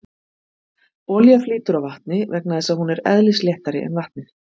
Olía flýtur á vatni vegna þess að hún er eðlisléttari en vatnið.